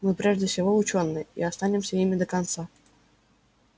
мы прежде всего учёные и останемся ими до конца